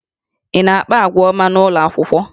Ị na-akpa àgwà ọma n'ụlọ akwụkwọ?